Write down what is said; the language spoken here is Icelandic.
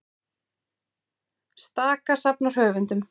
Staka safnar höfundum